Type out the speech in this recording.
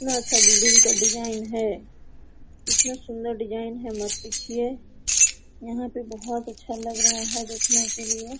इतना अच्छा बिल्डिंग का डिजाइन है इतना सुंदर डिजाइन है मत पूछिए यहां पे बहुत अच्छा लग रहा है देखने के लिए।